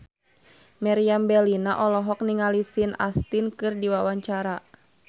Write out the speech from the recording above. Meriam Bellina olohok ningali Sean Astin keur diwawancara